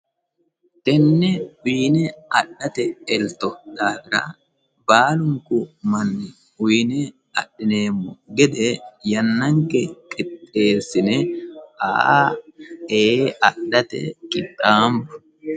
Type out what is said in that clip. Tene fiine adhate elto baalunku manni uyine adhineemmo gede yannanke qixxeesine e'e adhate qixxaanbo.